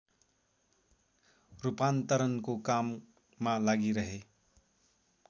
रूपान्तरणको काममा लागिरहे